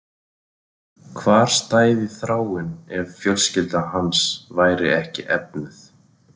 Hvar stæði Þráinn ef fjölskylda hans væri ekki efnuð?